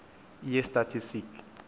yeestatistiki